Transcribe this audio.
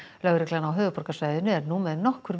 lögreglan á höfuðborgarsvæðinu er nú með nokkur